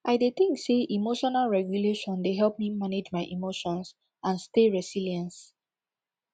i dey think say emotional regulation dey help me manage my emotions and stay resilience